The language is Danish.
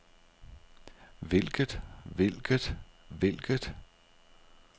hvilket hvilket hvilket